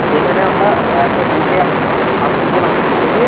এখানে আমরা একটা group এ আছি ছাব্বিশ জন আছি group এ আছি ঠিক আছে?